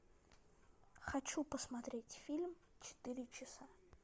хочу посмотреть фильм четыре часа